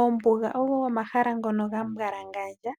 Oombuga ogo omahala ngono ga mbwalangandja